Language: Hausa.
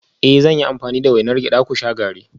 Eh zan yi amfani da wainar gyada ku sha garri